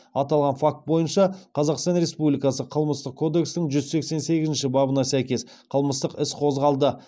аталған факт бойынша қазақстан республикасы қылмыстық кодексінің жүз сексен сегізінші бабына сәйкес қылмыстық іс қозғалды